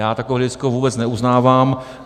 Já takové hledisko vůbec neuznávám.